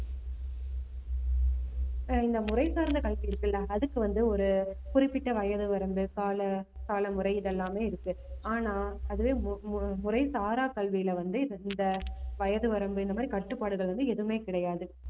ஆஹ் இந்த முறை சார்ந்த கல்வி இருக்குல்ல அதுக்கு வந்து ஒரு குறிப்பிட்ட வயது வரம்பு கால~ காலமுறை இதெல்லாமே இருக்கு ஆனா அதுவே மு~ முறை சாரா கல்வியில வந்து இந்த வயது வரம்பு இந்த மாதிரி கட்டுப்பாடுகள் வந்து எதுவுமே கிடையாது